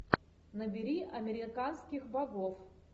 набери американских богов